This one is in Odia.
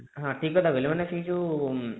ହଁ ଠିକ କଥା କହିଲେ ମାନେ ସେଇ ଯୋଉ